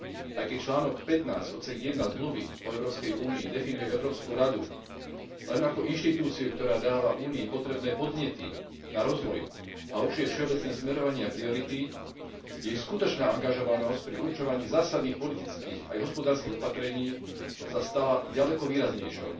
Aj keď článok 15 odsek 1 Zmluvy o Európskej únii definuje Európsku radu len ako inštitúciu, ktorá dáva Únii potrebné podnety na rozvoj a určuje všeobecné smerovanie a priority, jej skutočná angažovanosť pri určovaní zásadných politických aj hospodárskych opatrení sa stala ďaleko výraznejšou.